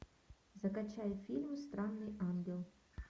закачай фильм странный ангел